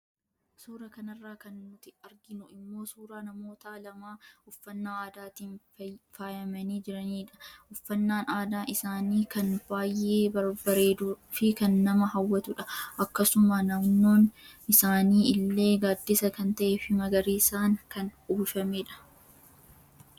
Suura kanarraa kan nuti arginu immoo suuraa namoota lamaa uffannaa aadaatiin faayamanii jiraniidha. Uffannaan aadaa isaanii kan baayee bareeduu fi kan nama hawwatudha. Akkasuma naannoon isaanii illee gaddisa kan tahe fi magariisaan kan uwwifameedha.